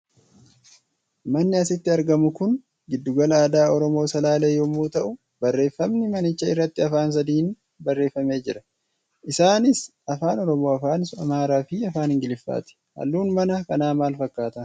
Manni asitti argamu kun giddugala aadaa Oromoo Salaalee yommuu ta'u, barreeffamni manicha irratti afaan sadiin barreeffamee jira. Isaanis faan Oromoo, afaan Amaaraa fi afaan ingiliffaati. Halluun mana kanaa maal fakkaata?